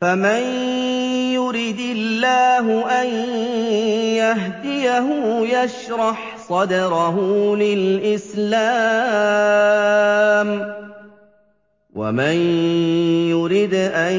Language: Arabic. فَمَن يُرِدِ اللَّهُ أَن يَهْدِيَهُ يَشْرَحْ صَدْرَهُ لِلْإِسْلَامِ ۖ وَمَن يُرِدْ أَن